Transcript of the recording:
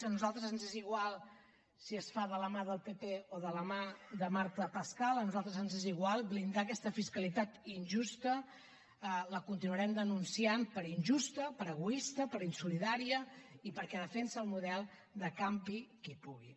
a nosaltres ens és igual si es fa de la mà del pp o de la mà de marta pascal a nosaltres ens és igual blindar aquesta fiscalitat injusta la continuarem denunciant per injusta per egoista per insolidària i perquè defensa el model de campi qui pugui